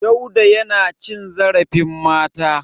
Dauda yana cin zarfin mata.